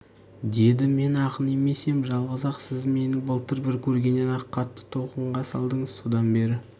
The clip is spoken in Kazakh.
деді мен ақын емес ем жалғыз-ақ сіз мені былтыр бір көргеннен-ақ қатты толқынға салдыңыз содан бері